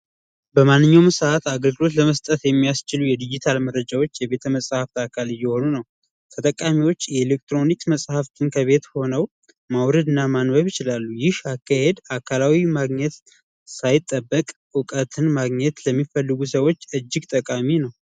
በማንኛውም ሰዓት አገልግሎት ለመስጠት የሚያስችሉ የዲጂታል መረጃዎች የቤተመፃፍት አካል እየሆኑ ነው ተጠቃሚዎች የኤሌክትሮኒክ መጽሐፍትን ከቤት ሆኖ ማውረድ እና ማን ይችላሉ አካላዊ ማግኘት ሳይጠበቅ እውቀትን ማግኘት ለሚፈልጉ ሰዎች እጅግ ጠቃሚ ነው